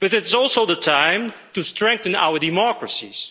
but it's also the time to strengthen our democracies.